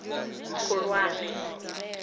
khulwane